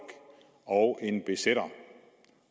og en besætter